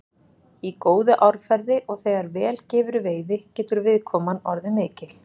Í góðu árferði og þegar vel gefur í veiði getur viðkoman orðið mikil.